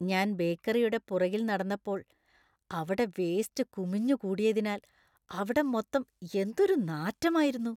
ഞാൻ ബേക്കറിയുടെ പുറകിൽ നടന്നപ്പോൾ അവിടെ വേസ്റ്റ് കുമിഞ്ഞുകൂടിയതിനാൽ അവിടം മൊത്തം എന്തൊരു നാറ്റമായിരുന്നു.